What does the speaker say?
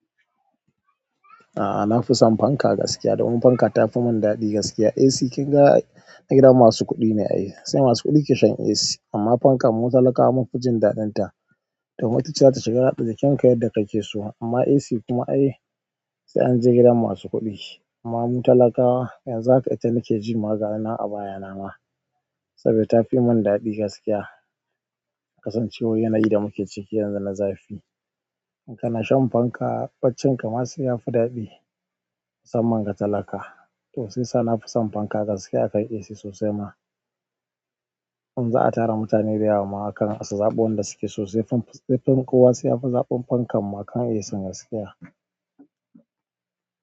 A'a, na fi son fanka gaskiya domin fanka ta fi mun daɗi gaskiya. AC kin ga a gidan masu kuɗi ne a yi, sai masu kuɗi ke shan AC. Amma fanka mu talakawa mun fi jin daɗin ta domin itace za ta shiga ratsa jikin ka yadda kake so. Amman AC kuma ai sai an je gidan masu kuɗi. Amma mu talakawa yanzu haka ita nake ji ma gayi nan baya na ma saboda ta fi mun daɗi gaskiya. Kasancewar yanayi da muke ciki yanzu na zafi. In kana shan fanka, baccinka ma sai yafi daɗi, musamman ga talaka. To sai sa na fi son fanka gaskiya akan AC sosai ma. In za a tara mutane dayawa ma hakan su zaɓo wanda suke, sai fan, sai fan kuwa sai ya fi zaɓen fankan ma akan AC gaskiya.